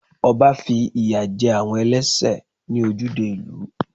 Ọba fi ìyà jẹ àwọn ẹlẹ́sẹ̀ ní ojúde ìlú.